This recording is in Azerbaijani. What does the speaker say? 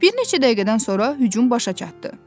Bir neçə dəqiqədən sonra hücum başa çatdı.